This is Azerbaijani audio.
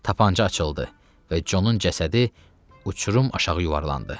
Tapanca açıldı və Conun cəsədi uçurum aşağı yuvarlandı.